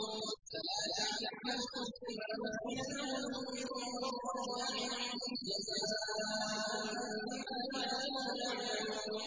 فَلَا تَعْلَمُ نَفْسٌ مَّا أُخْفِيَ لَهُم مِّن قُرَّةِ أَعْيُنٍ جَزَاءً بِمَا كَانُوا يَعْمَلُونَ